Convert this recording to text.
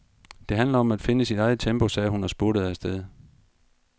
Det handler om at finde sit eget tempo, sagde hun og spurtede afsted.